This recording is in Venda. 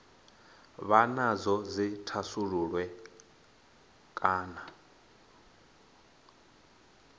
vha nadzo dzi thasululwe kana